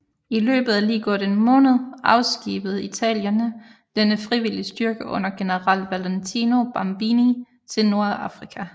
I løbet af lige godt en måned afskibede italienerne denne frivillige styrke under general Valentino Babini til Nordafrika